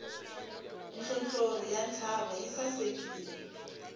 nhlonhlori ya ntshava yi sasekile